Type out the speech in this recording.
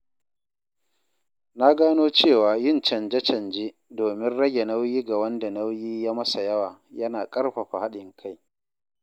Na gano cewa yin canje-canje domin rage nauyi ga wanda nauyi ya masa yawa yana ƙarfafa haɗin kai.